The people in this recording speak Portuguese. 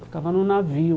Ficava no navio.